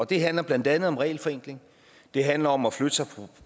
det handler blandt andet om regelforenkling det handler om at flytte sig fra